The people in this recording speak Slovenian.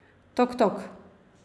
Tok, tok!